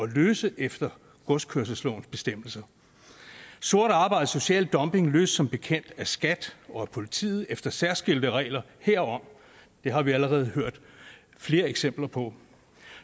løse efter godskørselslovens bestemmelser sort arbejde og social dumping løses som bekendt af skat og af politiet efter særskilte regler herom det har vi allerede hørt flere eksempler på